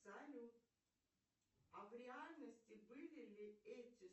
салют а в реальности были ли эти